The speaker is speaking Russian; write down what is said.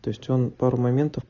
то есть он пару моментов